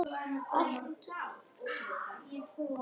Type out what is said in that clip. Alltaf að.